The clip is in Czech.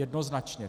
Jednoznačně.